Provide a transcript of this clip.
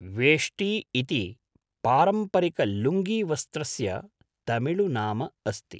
वेष्टी इति पारम्परिकलुङ्गीवस्त्रस्य तमिळु नाम अस्ति।